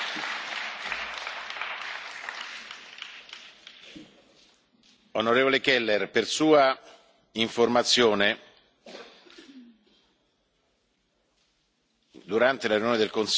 Onorevole Keller, per sua informazione, durante la riunione del Consiglio, mi sono soffermato a lungo, nel corso del mio intervento,